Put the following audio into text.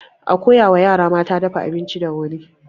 A koya wa yara mata dafa abinci da wuri.